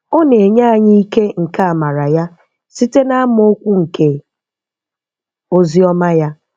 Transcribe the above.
Ọ na-enye anyị ike nke àmárà Ya site n’amaokwu nke Oziọ́ma Ya.